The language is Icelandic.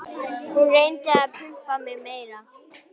Hún reyndi að pumpa mig meira.